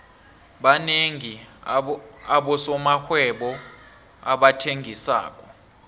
banengi abosomarhwebo abathengisako